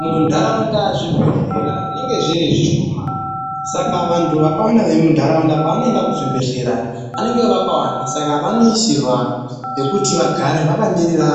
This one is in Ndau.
Muntaraunda zvibhedhlera zvinenge zviri zvishoma, saka vantu vakawanda vemuntaraunda pavanoenda kuzvibhedhlera vanenge vakawanda. Saka vanoisirwa pekuti vagare vakamirira